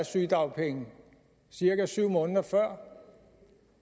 sygedagpenge cirka syv måneder før